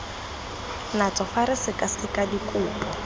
natso fa re sekaseka dikopo